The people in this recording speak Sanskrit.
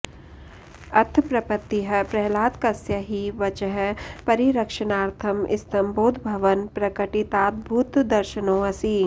अथ प्रपत्तिः प्रह्लादकस्य हि वचः परिरक्षणार्थं स्तम्भोद्भवन् प्रकटिताद्भुतदर्शनोऽसि